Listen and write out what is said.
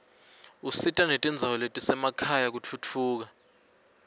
usita netindzawo letisemakhaya kutfutfuka